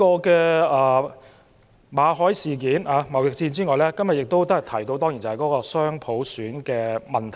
除馬凱事件和貿易戰外，多位同事提及雙普選的問題。